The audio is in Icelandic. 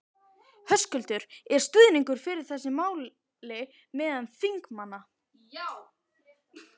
Höskuldur: Er stuðningur fyrir þessu máli meðal þingmanna?